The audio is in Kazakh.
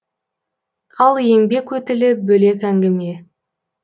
ал еңбек өтілі бөлек әңгіме